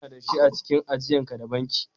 Nawa kana da shi a cikin ajian ka da bankin?